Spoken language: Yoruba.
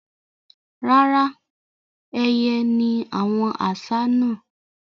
Rárá, ẹyẹ ni àwọn àṣá náà.